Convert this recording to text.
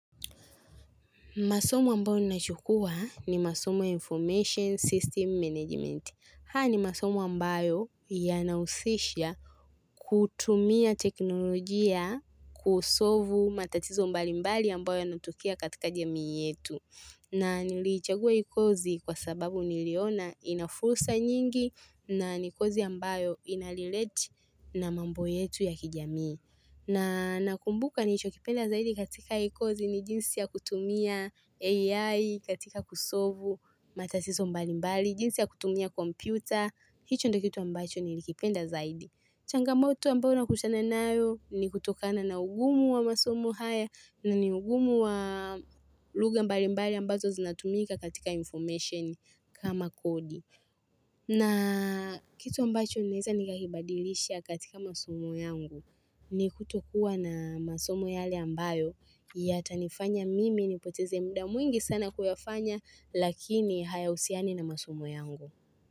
Masomo ambayo nachukua ni masomo ya information system management. Haya ni masomo ambayo yanahusisha kutumia teknolojia kusolvu matatizo mbalimbali ambayo yanatokea katika jamii yetu. Na niliichagua hii kozi kwa sababu niliona ina fursa nyingi na ni kozi ambayo inarelate na mambo yetu ya kijamii. Na nakumbuka nilicho kipenda zaidi katika hii kozi ni jinsi ya kutumia AI katika kusolvu matatizo mbalimbali, jinsi ya kutumia kompyuta, hicho ndio kitu ambacho nilikipenda zaidi. Changamoto ambayo nakutana nayo ni kutokana na ugumu wa masomo haya na ni ugumu wa lugha mbalimbali ambazo zinatumika katika information kama kodi. Na kitu ambacho ninaeza nikakibadilisha katika masomo yangu ni kutokuwa na masomo yale ambayo yatanifanya mimi nipoteze muda mwingi sana kuyafanya lakini hayahusiani na masomo yangu.